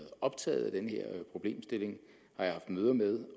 optaget af den her problemstilling har jeg haft møder med